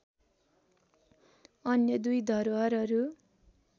अन्य दुई धरोहरहरू